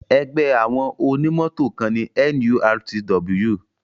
Ẹgbẹ́ àwọn onímọ̀tò kan ni NURTW.